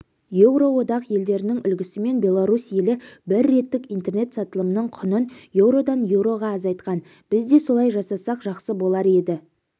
еуроодақ елдерінің үлгісімен беларусь елі бір реттік интернет сатылымның құнын еуродан еуроға азайтқан біз де солай жасасақ жақсы болар еді